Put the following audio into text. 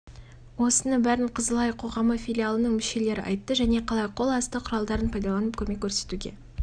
осыны бәрін қызыл ай қоғамы филиалының мүшелері айтты және қалай қол асты құралдарын пайдаланып көмек көрсетуге